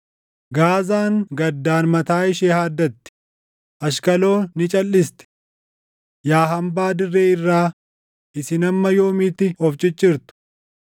Gaazaan gaddaan mataa ishee haaddatti; Ashqaloon ni calʼisti. Yaa hambaa dirree irraa isin hamma yoomiitti of ciccirtu?